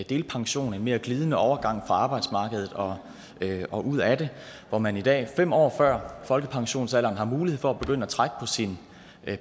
delpension en mere glidende overgang fra arbejdsmarkedet og ud af det hvor man i dag fem år før folkepensionsalderen har mulighed for at begynde at trække på sin